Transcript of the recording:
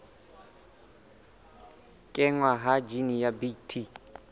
kenngwa ha jine ya bt